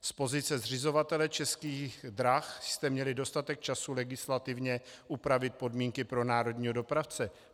Z pozice zřizovatele Českých drah jste měli dostatek času legislativně upravit podmínky pro národního dopravce.